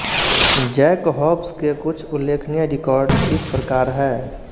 Jack Hobbs के कुछ उल्लेखनीय रिकॉर्ड इस प्रकार है